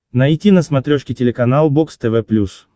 найти на смотрешке телеканал бокс тв плюс